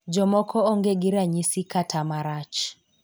Jomoko onge gi ranyisi kata marach.